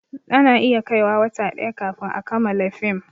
Ana iya kai wa wata ɗaya kafin a kamala fim